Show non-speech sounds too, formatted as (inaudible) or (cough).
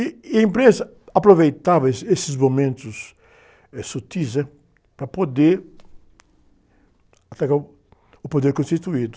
E a imprensa aproveitava esse, esses momentos, eh, sutis, né? Para poder (unintelligible) o poder constituído.